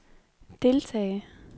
deltage